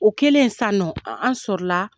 O kɛlen san nɔ an sɔrɔla.